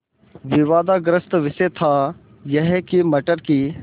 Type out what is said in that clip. विवादग्रस्त विषय था यह कि मटर की